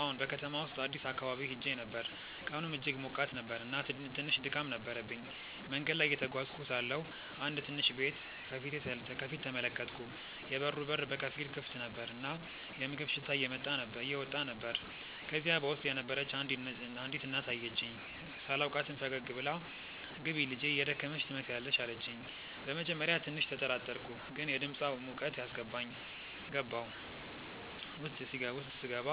አዎን፣ በከተማው ውስጥ አዲስ አካባቢ ሄዼ ነበር፣ ቀኑም እጅግ ሞቃት ነበር እና ትንሽ ድካም ነበረብኝ። መንገድ ላይ እየተጓዝኩ ሳለሁ አንድ ትንሽ ቤት ከፊት ተመለከትኩ፤ የበሩ በር በከፊል ክፍት ነበር እና የምግብ ሽታ እየወጣ ነበር። ከዚያ በውስጥ የነበረች አንዲት እናት አየችኝ። ሳላውቃትም ፈገግ ብላ “ግቢ ልጄ፣ የደከመሽ ትመስያለሽ” አለችኝ። በመጀመሪያ ትንሽ ተጠራጠርኩ፣ ግን የድምፃ ሙቀት አስገባኝ። ገባሁ። ውስጥ ሲገባ